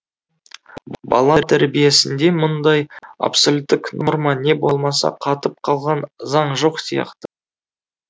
бала тәрбиесінде мұндай абсолюттік норма не болмаса қатып қалған заң жоқ сияқты